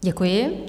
Děkuji.